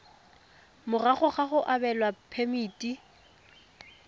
morago ga go abelwa phemiti